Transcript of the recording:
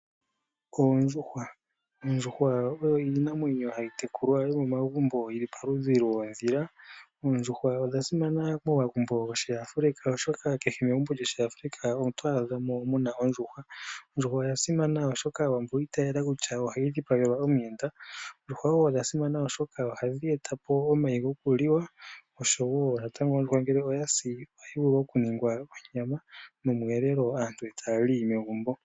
Oondjuhwa Oondjuhwa oyo iinamwenyo yomegumbo hayi tekulwa yi li palupe lwoondhila. Oondjuhwa odha simana momagumbo gOshiafrika, oshoka kehe megumbo lyOshiafrika oto adha mo mu na ondjuhwa. Ondjuhwa oya simana, oshoka Aawambo oyi itayela kutya oyo hayi dhipagelwa omuyenda. oondjuhwa odha simana, oshoka ohadhi eta po omayi gokuliwa nongele ya dhipagwa ohayi gandja onyama nomweelelo aantu e ta ya li megumbo.